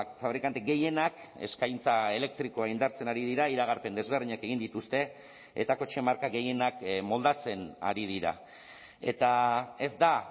fabrikante gehienak eskaintza elektrikoa indartzen ari dira iragarpen desberdinak egin dituzte eta kotxe marka gehienak moldatzen ari dira eta ez da